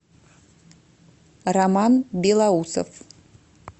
роман белоусов